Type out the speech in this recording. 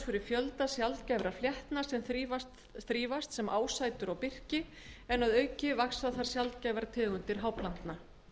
fyrir fjölda sjaldgæfra fléttna sem þrífast sem ásætur á birki en að auki vaxa þar sjaldgæfar tegundir háplantna